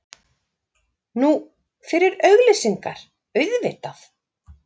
Nú, fyrir auglýsingar, auðvitað.